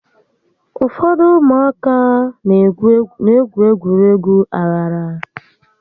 Ụfọdụ ụmụaka n'egwu egwuregwu aghara